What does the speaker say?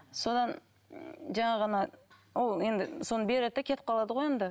содан жаңағы ана ол енді соны береді де кетіп қалады ғой енді